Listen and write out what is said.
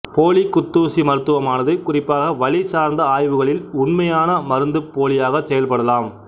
போலி குத்தூசி மருத்துவமானது குறிப்பாக வலி சார்ந்த ஆய்வுகளில் உண்மையான மருந்துப்போலியாகச் செயல்படலாம்